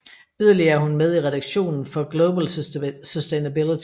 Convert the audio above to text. Yderligere er hun med i redaktionen for Global Sustainability